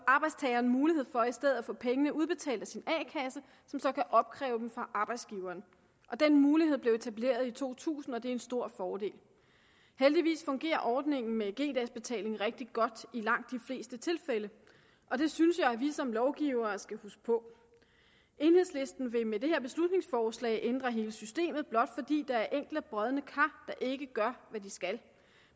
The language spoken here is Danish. arbejdstageren mulighed for i stedet at få pengene udbetalt af sin a kasse som så kan opkræve dem fra arbejdsgiveren den mulighed blev etableret i to tusind og det er en stor fordel heldigvis fungerer ordningen med g dags betaling rigtig godt i langt de fleste tilfælde og det synes jeg vi som lovgivere skal huske på enhedslisten vil med det her beslutningsforslag ændre hele systemet blot fordi der er enkelte brodne kar der ikke gør hvad de skal